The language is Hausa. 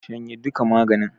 Shanye duka maganin!